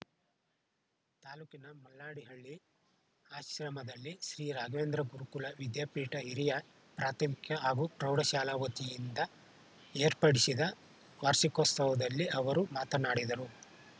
ತಾಲೂಕಿನ ಮಲ್ಲಾಡಿಹಳ್ಳಿ ಆಶ್ರಮದಲ್ಲಿ ಶ್ರೀ ರಾಘವೇಂದ್ರ ಗುರುಕುಲ ವಿದ್ಯಾಪೀಠ ಹಿರಿಯ ಪ್ರಾಥಮಿಕ ಹಾಗೂ ಪ್ರೌಢಶಾಲಾ ವತಿಯಿಂದ ಏರ್ಪಡಿಸಿದ್ದ ವಾರ್ಷಿಕೋತ್ಸವದಲ್ಲಿ ಅವರು ಮಾತನಾಡಿದರು